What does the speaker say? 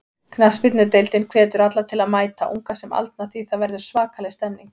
Knattspyrnudeildin hvetur alla til að mæta, unga sem aldna því það verður svakaleg stemning.